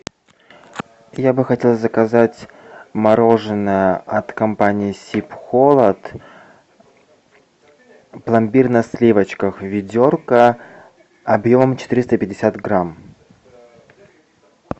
я бы хотел заказать мороженое от компании сибхолод пломбир на сливочках ведерко объем четыреста пятьдесят грамм